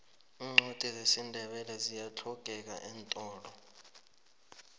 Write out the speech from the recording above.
iincwadi zesindebele ziyahlogeka eentolo